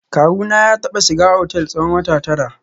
Kawuna ya taba shiga otel tsawon wata tara